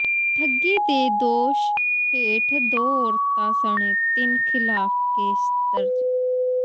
ਠੱਗੀ ਦੇ ਦੋਸ਼ ਹੇਠ ਦੋ ਔਰਤਾਂ ਸਣੇ ਤਿੰਨ ਖ਼ਿਲਾਫ਼ ਕੇਸ ਦਰਜ